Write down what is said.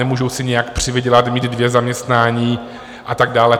Nemůžou si nijak přivydělat, mít dvě zaměstnání a tak dále.